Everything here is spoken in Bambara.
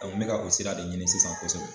Awɔ n be ka o sira de ɲini sisan kosɛbɛ